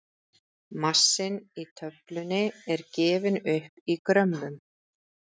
massinn í töflunni er gefinn upp í grömmum